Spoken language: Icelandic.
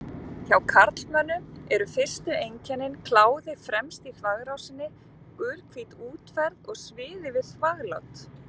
Hjá karlmönnum eru fyrstu einkennin kláði fremst í þvagrásinni, gulhvít útferð og sviði við þvaglát.